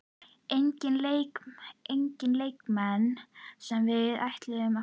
Enginn leikmenn sem við ætlum að fá?